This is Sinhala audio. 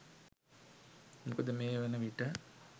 මොකද මේ වන විට